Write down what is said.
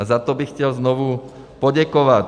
A za to bych chtěl znovu poděkovat.